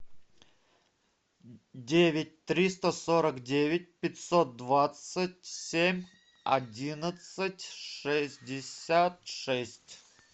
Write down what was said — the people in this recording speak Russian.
девять триста сорок девять пятьсот двадцать семь одиннадцать шестьдесят шесть